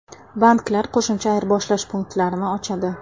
Banklar qo‘shimcha ayirboshlash punktlarini ochadi.